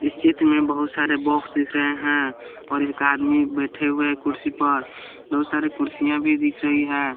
इस चित्र में बहुत सारे बॉक्स दिख रहे हैं और एक आदमी बैठे हुए हैं कुर्सी पर बहुत सारे कुर्सियाँ भी दिख रही है।